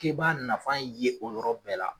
K'i b'a nafa ye o yɔrɔ bɛɛ la.